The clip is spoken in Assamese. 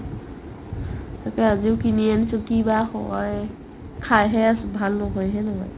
সেইটো আজিও কিনি আনিছো কি বা হয় খাইহে আছো ভাল নহয় হে নহয়